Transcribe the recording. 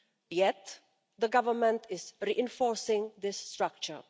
Yet, the government is reinforcing this structure.